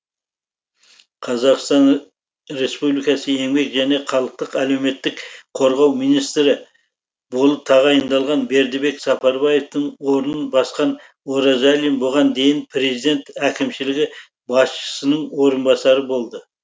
қазақстан республикасы еңбек және халықтық әлеуметтік қорғау министрі болып тағайындалған бердібек сапарбаевтың орнын басқан оразалин бұған дейін президент әкімшілігі басшысының орынбасары болды